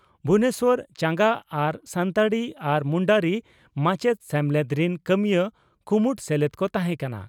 ᱵᱷᱩᱵᱚᱱᱮᱥᱚᱨ ᱪᱟᱸᱜᱟ ᱟᱨ ᱥᱟᱱᱛᱟᱲᱤ ᱟᱨ ᱢᱩᱱᱰᱟᱨᱤ ᱢᱟᱪᱮᱛ ᱥᱮᱢᱞᱮᱫ ᱨᱤᱱ ᱠᱟᱹᱢᱤᱭᱟᱹ ᱠᱩᱢᱩᱴ ᱥᱮᱞᱮᱫ ᱠᱚ ᱛᱟᱦᱮᱸ ᱠᱟᱱᱟ ᱾